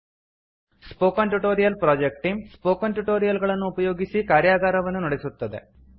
spoken tutorial project team spoken tutorial ಗಳನ್ನು ಉಪಯೋಗಿಸಿ ಕಾರ್ಯಗಾರವನ್ನು ನಡೆಸುತ್ತದೆ